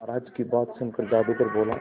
महाराज की बात सुनकर जादूगर बोला